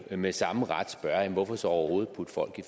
jo med samme ret spørge hvorfor så overhovedet putte folk